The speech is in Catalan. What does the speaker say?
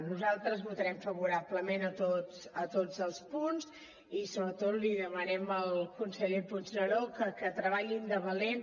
nosaltres votarem favorablement a tots els punts i sobretot li demanem al conseller puigneró que treballin de valent